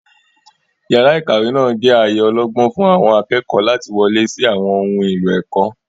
Yàrá ìkàwé náà jẹ́ ààyè ọlọ́gbọ́n fún àwọn akẹ́kọ̀ọ́ láti wọlé sí àwọn ohun èlò ẹ̀kọ́.